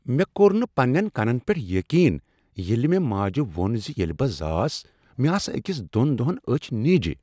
مےٚ کوٚر نہ پننین کنن پیٹھ یقین ییٚلہ مےٚ ماجہ ووٚن ز ییٚلہ بہٕ زاس، مےٚ آسہٕ أکس دۄن دۄہن أچھ نیجہ۔